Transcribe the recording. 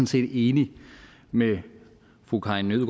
set enig med fru karin